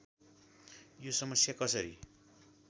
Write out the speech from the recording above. यो समस्या कसरी